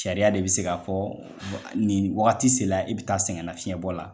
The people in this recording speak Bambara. Sariya de bɛ se ka fɔ nin wagati se la i bɛ taa sɛgɛn nafiyɛnbɔ la.